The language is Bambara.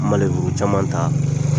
caman ta